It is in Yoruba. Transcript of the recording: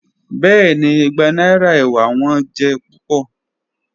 Bẹẹni, igba naira ewa wọn jẹ pupọ.